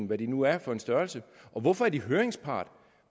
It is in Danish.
hvad det nu er for en størrelse så hvorfor er de høringspart